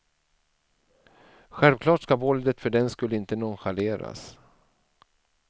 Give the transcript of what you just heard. Självklart ska våldet för den skull inte nonchaleras.